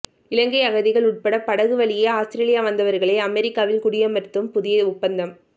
இலங்கை அகதிகள் உட்பட படகு வழியே ஆஸ்திரேலியா வந்தவர்களை அமெரிக்காவில் குடியமர்த்தும் புதிய ஒப்பந்தம்